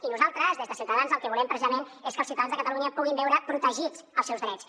i nosaltres des de ciutadans el que volem precisament és que els ciutadans de catalunya puguin veure protegits els seus drets